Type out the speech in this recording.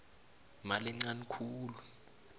imali encani khulu